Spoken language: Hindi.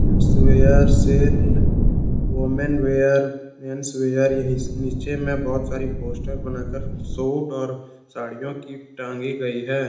Kids wear sale women wear mens wear नीचे में बहुत सारी पोस्टर बनाकर सूट और साड़ियों की टागी गई है।